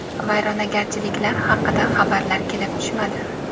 Vayronagarchiliklar haqida xabarlar kelib tushmadi.